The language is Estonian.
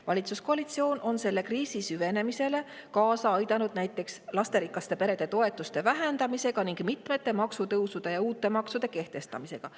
Valitsuskoalitsioon on selle kriisi süvenemisele kaasa aidanud näiteks lasterikaste perede toetuste vähendamisega ning mitmete maksutõusude ja uute maksude kehtestamisega.